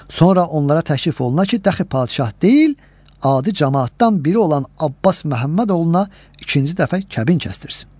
Sonra onlara təklif oluna ki, dəxi padşah deyil, adi camaatdan biri olan Abbas Məhəmməd oğluna ikinci dəfə kəbin kəsdirsin.